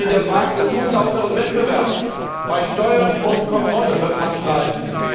Aber schon in der Frage des unlauteren Wettbewerbs, bei Steuern und Kontrolle wird man streiten.